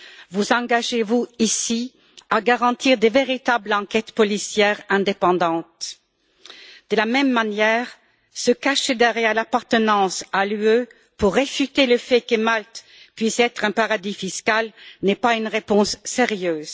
Vous engagez vous, ici, à garantir de véritables enquêtes policières indépendantes? De la même manière, se cacher derrière l'appartenance à l'Union européenne pour réfuter le fait que Malte puisse être un paradis fiscal n'est pas une réponse sérieuse.